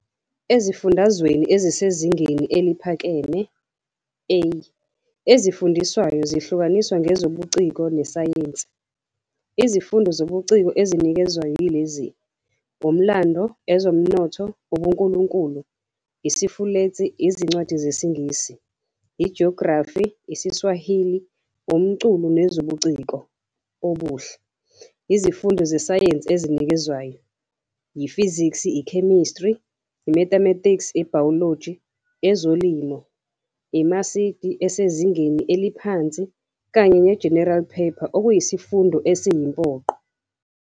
Ezifundweni ezisezingeni eliphakeme, "A", ezifundiswayo zihlukaniswe ngeZobuciko neSayensi. Izifundo zobuciko ezinikezwayo yilezi, Umlando, Ezomnotho, UbuNkulunkulu, IsiFulentshi, Izincwadi ZesiNgisi, IJografi, IsiSwahili, Umculo Nobuciko Obuhle. Izifundo zeSayensi ezinikezwayo yiFizikiki, iChemistry, iMathematics, iBiology, ezoLimo, iMasidi esezingeni eliphansi kanye neGeneral Paper okuyisifundo esiyimpoqo.